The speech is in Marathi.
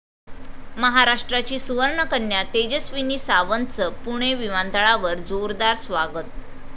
महाराष्ट्राची सुवर्णकन्या तेजस्विनी सावंतचं पुणे विमानतळावर जोरदार स्वागत